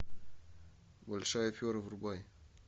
большая афера врубай